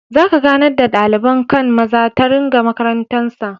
Za ka ganar da dalibain kai'n maza ta rigan makarantan sa.